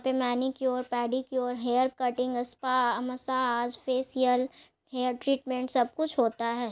यहाँ पे manicure pedicure hair cutting spa massage facial hair treatment सब कुछ होता है।